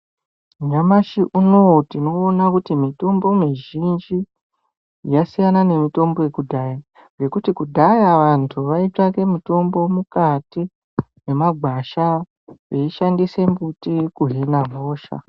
Nyamashi unou tinoona kuti mitombo mizhinji yasina ngemutombo yekudhaya ngekuti kudhaya vantu vaitsvake mitombo mukati memagwasha veishandise mbuti kuhine hosha.